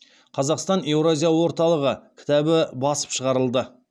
қазақстан еуразия орталығы кітабы басып шығарылды